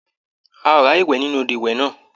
A ò ráàyè wẹ̀ nínú odò ìwẹ̀ náà.